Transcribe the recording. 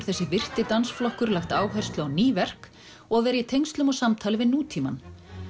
þessi virti dansflokkur lagt áherslu á ný verk og að vera í tengslum og samtali við nútímann